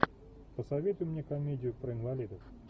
посоветуй мне комедию про инвалидов